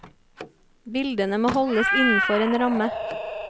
Bildene må holdes innenfor en ramme.